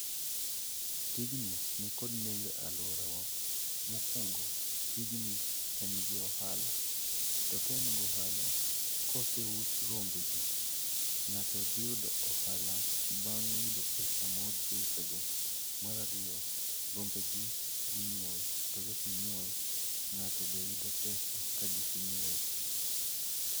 Tijni ni kod nengo e aluora wa. Mokwongo, tijni en gi ohala. To ka en gi ohala, koseus rombe gi, ng'ato dhi yudo ohala bang' yudo pesa mouse go. Mar ariyo, rombe gi ginyuol. To ka ginyuol, ng'ato be yudo pesa ka gise nyuol.